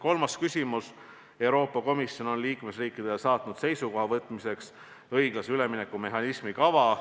Kolmas küsimus: "Euroopa Komisjon on liikmesriikidele saatnud seisukoha võtmiseks õiglase ülemineku mehhanismi kava.